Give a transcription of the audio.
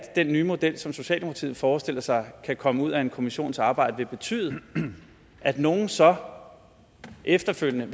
nye model som socialdemokratiet forestiller sig kan komme ud af en kommissions arbejde vil betyde at nogle så efterfølgende